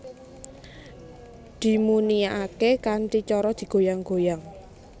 Dimuniake kanthi cara digoyang goyang